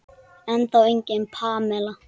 Ennþá engin Pamela.